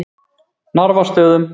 Narfastöðum